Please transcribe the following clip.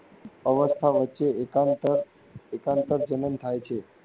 અવસ્થા વચ્ચે એકાંત એકાંતરજનન થાય છે.